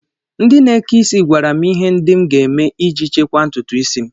Ndị na-eke is gwara m ihe ndị m ga-eme iji chekwaa ntụtụisi m